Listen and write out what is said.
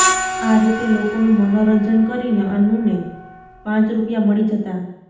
આ રીતે લોકોનું મનોરંજન કરીને અન્નુને પાંચ રૂપિયા મળી જતા